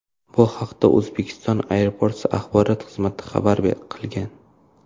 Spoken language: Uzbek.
Bu haqda Uzbekistan Airports axborot xizmati xabar qilgan .